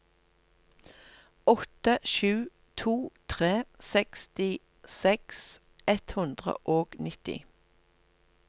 åtte sju to tre sekstiseks ett hundre og nitti